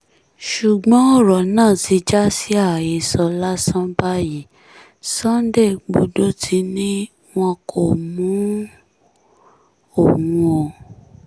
ṣùgbọ́n ọ̀rọ̀ náà ti já sí àhesọ lásán báyìí sunday igbodò ti ní wọn kò mú òun o